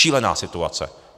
Šílená situace.